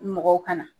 Mɔgɔw ka na